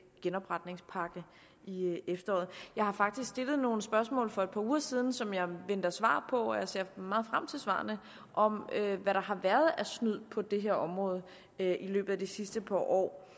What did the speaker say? genopretningspakke i efteråret jeg har faktisk stillet nogle spørgsmål for et par uger siden som jeg venter svar på og jeg ser meget frem til svarene om hvad der har været af snyd på det her område i løbet af de sidste par år